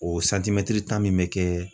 O santimɛtiri tan min be kɛ